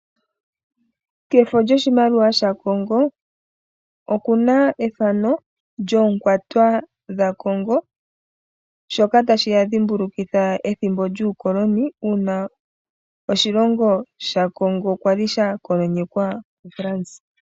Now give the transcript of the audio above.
Kefo lyoshimaliwa shaCongo okuna ethano lyoonkwatwa dha Congo, shoka tashi ya dhimbulukitha ethimbo yuukoloni uuna oshilongo sha Congo kwali sha kolonyekwa ku France.